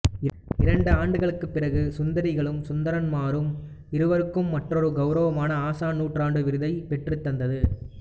இரண்டு ஆண்டுகளுக்குப் பிறகு சுந்தரிகளும் சுந்தரன்மாரும் இவருக்கு மற்றொரு கௌவரமான ஆசான் நூற்றாண்டு விருதை பெற்றுத் தந்தது